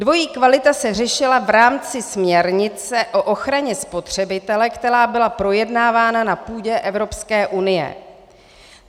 Dvojí kvalita se řešila v rámci směrnice o ochraně spotřebitele, která byla projednávána na půdě Evropské unie.